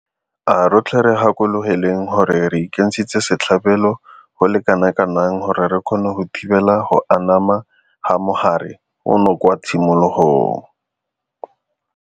A rotlhe re gakologelweng gore re ikentshitse setlhabelo go le kanakang gore re kgone go thibela go anama ga mogare ono kwa tshimologong.